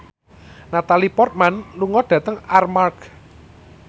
Natalie Portman lunga dhateng Armargh